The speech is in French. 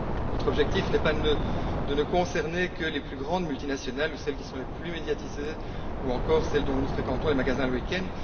Notre objectif n'est pas de ne viser que les plus grandes multinationales, celles qui sont les plus médiatisées ou encore celles dont nous fréquentons les magasins le week end.